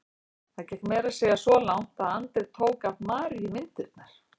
Það gekk meira að segja svo langt að Andri tók af Maríu myndirnar.